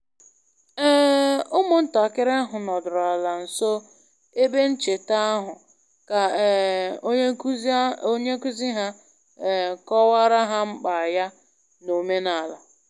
um Ụmụntakịrị ahụ nọdụrụ ala nso ebe ncheta ahụ ka um onye nkuzi ha um kọwara ha mkpa ya n'omenala